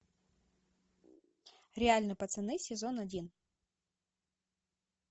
реальные пацаны сезон один